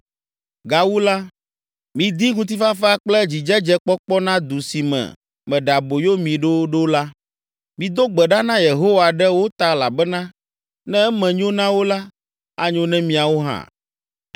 Gawu la, midi ŋutifafa kple dzidzedzekpɔkpɔ na du si me meɖe aboyo mi ɖo ɖo la. Mido gbe ɖa na Yehowa ɖe wo ta elabena ne eme nyo na wo la, anyo na miawo hã.”